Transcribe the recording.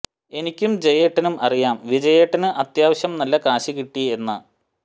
എനിക്കും ജയേട്ടനും അറിയാം വിജയേട്ടന് അത്യാവശ്യം നല്ല കാശ് കിട്ടി എന്ന്